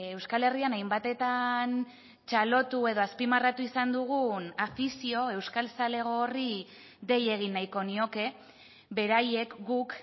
euskal herrian hainbatetan txalotu edo azpimarratu izan dugun afizio euskal zalego horri dei egin nahiko nioke beraiek guk